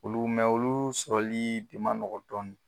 Olu olu sɔrɔli ma nɔgɔn dɔɔnin